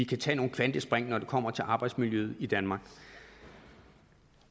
kan tage nogle kvantespring når det kommer til arbejdsmiljøet i danmark